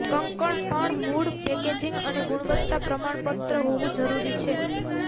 કંકણ પણ મૂળ પેકેજિંગ અને ગુણવત્તા પ્રમાણપત્ર હોવું જરૂરી છે